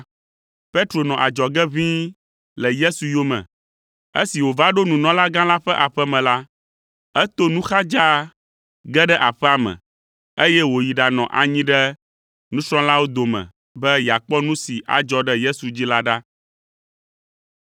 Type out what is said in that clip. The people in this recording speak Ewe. Petro nɔ adzɔge ʋĩi le Yesu yome. Esi wòva ɖo nunɔlagã la ƒe aƒe me la, eto nu xa dzaa ge ɖe aƒea me, eye wòyi ɖanɔ anyi ɖe subɔlawo dome be yeakpɔ nu si adzɔ ɖe Yesu dzi la ɖa.